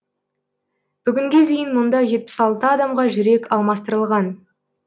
бүгінге дейін мұнда жетпіс алты адамға жүрек алмастырылған